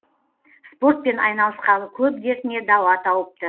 спортпен айналысқалы көп дертіне дауа тауыпты